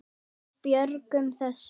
Við björgum þessu.